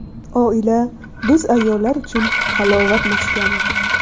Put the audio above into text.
Oila biz ayollar uchun halovat maskani.